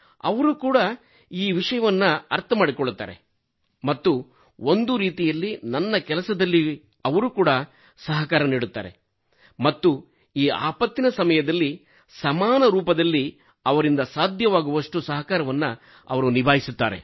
ಅವರು ಕೂಡಾ ಈ ವಿಷಯವನ್ನು ಅರ್ಥ ಮಾಡಿಕೊಳ್ಳುತ್ತಾರೆ ಮತ್ತು ಒಂದು ರೀತಿಯಲ್ಲಿ ನನ್ನ ಕೆಲಸದಲ್ಲಿ ಅವರು ಕೂಡಾ ಸಹಕಾರ ನೀಡುತ್ತಾರೆ ಮತ್ತು ಈ ಆಪತ್ತಿನ ಸಮಯದಲ್ಲಿ ಸಮಾನರೂಪದಲ್ಲಿ ಅವರಿಂದ ಸಾಧ್ಯವಾಗುವಷ್ಟು ಸಹಕಾರವನ್ನು ಅವರು ನಿಭಾಯಿಸುತ್ತಾರೆ